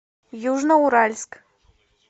южноуральск